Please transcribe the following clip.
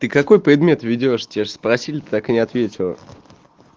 ты какой предмет ведёшь тебя ж спросили ты так и не ответила